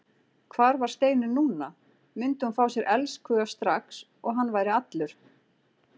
Hvar var Steinunn núna, myndi hún fá sér elskhuga strax og hann væri allur?